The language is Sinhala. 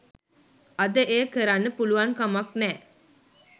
අද එය කරන්න පුලුවන්කමක් නෑ